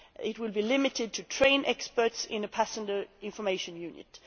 It will be limited to trained experts in a passenger information unit.